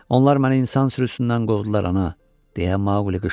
Onlar məni insan sürüsündən qovdular, ana, deyə Maquli qışqırdı.